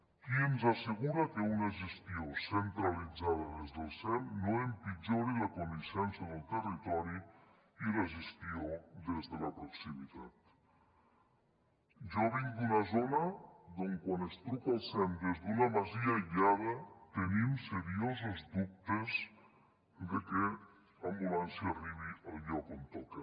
qui ens assegura que una gestió centralitzada des del sem no empitjori la coneixença del territori i la gestió des de la proximitat jo vinc d’una zona d’on quan es truca el sem des d’una masia aïllada tenim seriosos dubtes de què l’ambulància arribi al lloc on toca